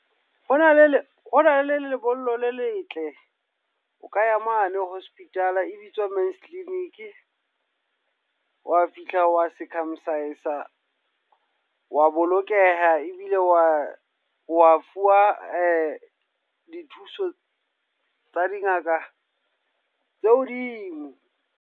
Ho na le, ho na le le le lebollo le letle. O ka ya mane hospital e bitswa Men's clinic. Wa fihla wa circumcise, wa bolokeha. Rbile wa wa fuwa dithuso tsa dingaka tse hodimo.